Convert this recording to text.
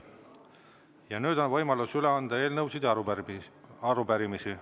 Ja nüüd on võimalus üle anda eelnõusid ja arupärimisi.